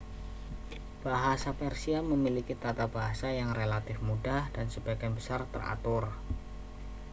bahasa persia memiliki tata bahasa yang relatif mudah dan sebagian besar teratur